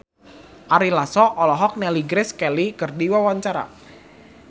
Ari Lasso olohok ningali Grace Kelly keur diwawancara